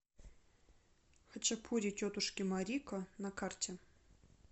хачапури тетушки марико на карте